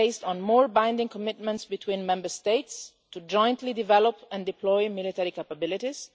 is based on more binding commitments between Member States to jointly develop and deploy military capabilities.